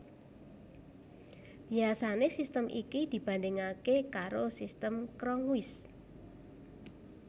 Biasané sistem iki dibandhingaké karo Sistem Cronquist